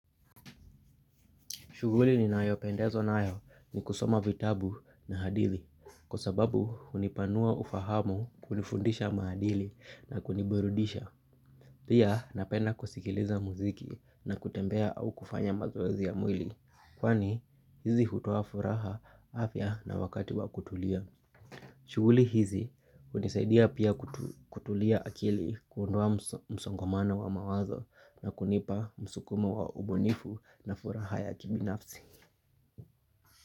Shughuli ninayopendezwa nayo ni kusoma vitabu na hadithi kwa sababu hunipanua ufahamu kunifundisha maadili na kuniburudisha. Pia napenda kusikiliza muziki na kutembea au kufanya mazoezi ya mwili kwani hizi hutoa furaha, afya na wakati wa kutulia. Shughuli hizi hunisaidia pia kutulia akili kuondoa msongomano wa mawazo na kunipa msukumo wa ubunifu na furaha ya kibinafsi.